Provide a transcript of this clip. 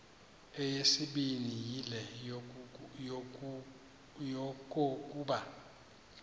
eyesibini yile yokokuba